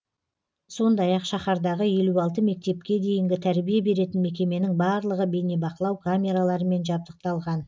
сондай ақ шаһардағы елу алты мектепке дейінгі тәрбие беретін мекеменің барлығы бейнебақылау камераларымен жабдықталған